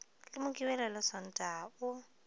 le mokibelo le sontaga o